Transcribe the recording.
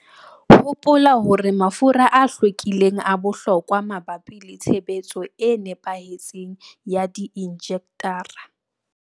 Hopola hore mafura a hlwekileng a bohlokwa mabapi le tshebetso e nepahetseng ya di-injectara.